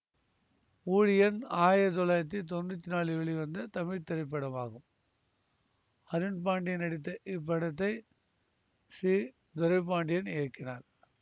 ஊழியன் ஆயிரத்தி தொள்ளாயிரத்தி தொன்னூத்தி நாலில் வெளிவந்த தமிழ் திரைப்படமாகும் அருண்பாண்டியன் நடித்த இப்படத்தை சி துரைபாண்டியன் இயக்கினார்